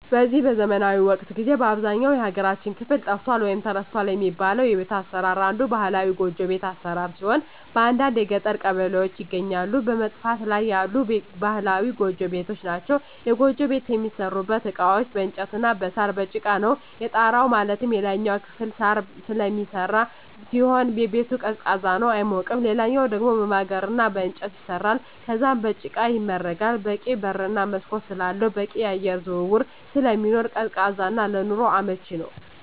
በዚህ ዘመናዊ ወቅት ጊዜ በአብዛኛው የሀገራችን ክፍል ጠፍቷል ወይም ተረስቷል የሚባለው የቤት አሰራር አንዱ ባህላዊ ጎጆ ቤት አሰራር ሲሆን በአንዳንድ የገጠር ቀበሌዎች ይገኛሉ በመጥፋት ላይ ያሉ ባህላዊ ጎጆ ቤቶች ናቸዉ። የጎጆ ቤት የሚሠሩበት እቃዎች በእንጨት እና በሳር፣ በጭቃ ነው። የጣራው ማለትም የላይኛው ክፍል በሳር ስለሚሰራ ሲሆን ቤቱ ቀዝቃዛ ነው አይሞቅም ሌላኛው ደሞ በማገር እና በእንጨት ይሰራል ከዛም በጭቃ ይመረጋል በቂ በር እና መስኮት ስላለው በቂ የአየር ዝውውር ስለሚኖር ቀዝቃዛ እና ለኑሮ አመቺ ነው።